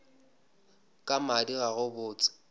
ka madi ga go botse